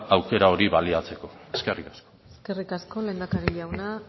aukera hori baliatzeko eskerrik asko eskerrik asko lehendakari jauna